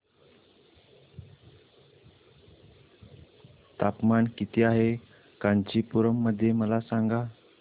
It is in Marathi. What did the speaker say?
तापमान किती आहे कांचीपुरम मध्ये मला सांगा